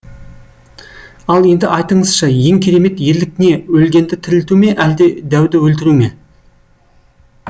ал енді айтыңызшы ең керемет ерлік не өлгенді тірілту ме әлде дәуді өлтіру ме